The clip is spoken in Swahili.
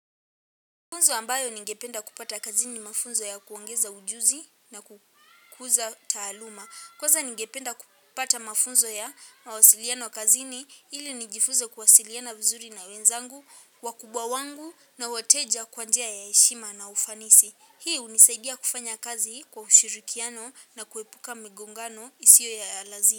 Mafunzo ambayo ningependa kupata kazini mafunzo ya kuongeza ujuzi na kukuza taaluma kwanza ningependa kupata mafunzo ya mawasiliano kazini ili nijifunze kuwasiliana vizuri na wenzangu, wakubwa wangu na weteja kwa njia ya heshima na ufanisi. Hii hunisaidia kufanya kazi kwa ushirikiano na kuepuka migongano isiyo ya lazima.